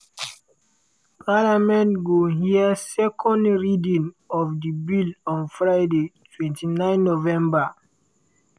parliament go hear second reading of di bill on friday 29 november.